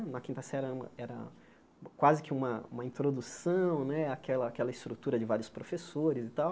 Na quinta série era era quase que uma uma introdução né, àquela àquela estrutura de vários professores e tal.